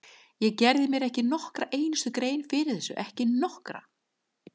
Ég gerði mér ekki nokkra einustu grein fyrir þessu, ekki nokkra!